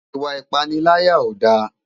Iwa ipàniláyá ó dá